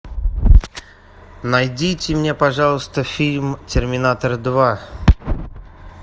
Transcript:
найдите мне пожалуйста фильм терминатор два